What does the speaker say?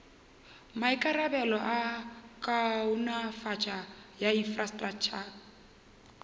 maikarabelo a kaonafatšo ya infrastraktšha